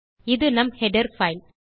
இது நம் header file